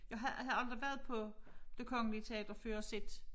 Jeg havde aldrig været på det Kongelige Teater før og set